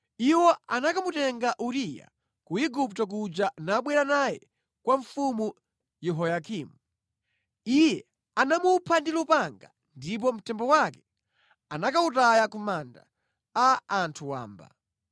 Iwo anakamutenga Uriya ku Igupto kuja nabwera naye kwa Mfumu Yehoyakimu. Iye anamupha ndi lupanga ndipo mtembo wake anakawutaya ku manda a anthu wamba).